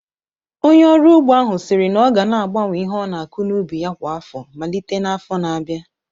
Onye ọrụ ugbo ahụ siri na ọ ga na-agbanwe ihe ọ na-akụ n'ubi ya kwa afọ malite n'afọ na-abịa